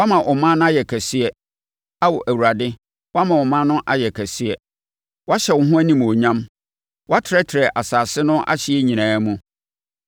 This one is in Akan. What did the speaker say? Woama ɔman no ayɛ kɛseɛ, Ao Awurade; woama ɔman no ayɛ kɛseɛ; woahyɛ wo ho animuonyam; woatrɛtrɛ asase no ahyeɛ nyinaa mu.